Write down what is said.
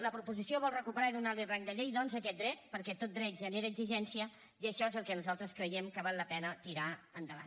la proposició vol recuperar i donar li rang de llei doncs aquest dret perquè tot dret genera exigència i això és el que nosaltres creiem que val la pena tirar endavant